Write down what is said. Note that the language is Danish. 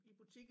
I butikken